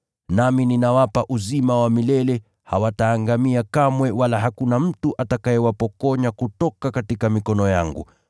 nami ninawapa uzima wa milele, hawataangamia kamwe wala hakuna mtu atakayewapokonya kutoka mikono yangu.